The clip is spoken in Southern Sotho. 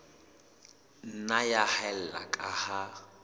nna ya haella ka ha